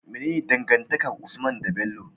Mene dangantakar usman de Bello?